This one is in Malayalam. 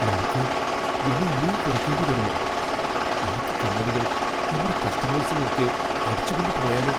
നമുക്ക് വില ഇനിയും കുറയ്ക്കേണ്ടി വരുമോ? ബാക്കി കമ്പനികൾ നമ്മുടെ കസ്റ്റമേഴ്സിനെ ഒക്കെ അടിച്ചുകൊണ്ട് പോയാലോ?